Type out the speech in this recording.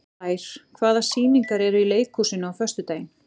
Blær, hvaða sýningar eru í leikhúsinu á föstudaginn?